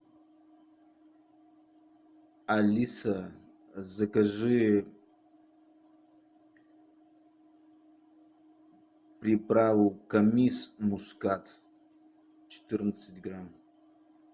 алиса закажи приправу камис мускат четырнадцать грамм